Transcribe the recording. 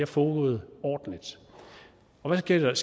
foregået ordentligt og hvad sker der